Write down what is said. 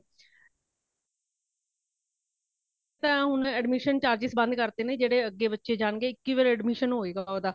ਇਹ ਹੋਣ admission charges ਬੰਦ ਕਰ ਦਿੱਤੇ ਨੇ , ਜੇੜੇ ਅੱਗੇ ਬੱਚੇ ਜਾਣਗੇ ਇਕ ਹੀ ਵਾਰੀ admission ਹੋਇਗਾ ਓਦਾਂ